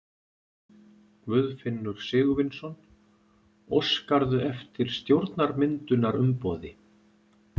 Guðfinnur Sigurvinsson: Óskarðu eftir stjórnarmyndunarumboði?